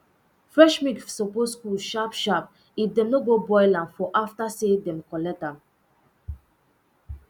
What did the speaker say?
fresh milk suppose cool sharpsharp if dem no go boil am for after say dem collect am um